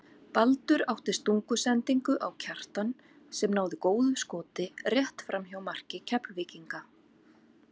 Baldur átti stungusendingu á Kjartan sem náði góðu skoti rétt framhjá marki Keflvíkinga.